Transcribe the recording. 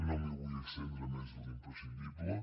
no m’hi vull estendre més de l’imprescindible